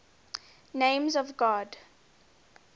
names of god